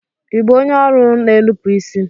Ibu onye ọrụ n'enupu isi?